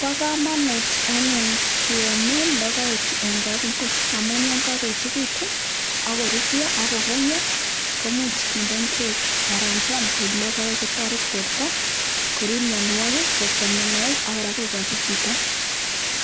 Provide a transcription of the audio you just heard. Pa kamanut anyun kemin logoechu eng' kapungui amun ye kakoechikitu ako rurya ako kong'ia komuch kinde ngwek anan keam ko logoek ko muchi kotaret porto korip mianwogik, koista mianwogik ako kora kokachi chito